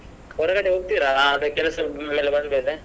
ಹೊರಗಡೆ ಹೋಗ್ತೀರಾ ಅದೇ ಕೆಲಸದಿಂದ ಬಂದ್ಮೇಲೆ.